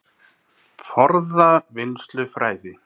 Forða- og vinnslufræði